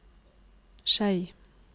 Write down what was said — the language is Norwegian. Skei